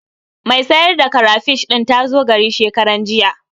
Mai sayar da karafish ɗin ta zo gari shekaranjiya.